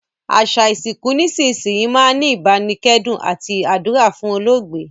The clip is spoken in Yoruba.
Àsa ìsìnkù nísinsìnyi máa n ni ìbánikẹ́dùn àti àdúrà fún olóògbé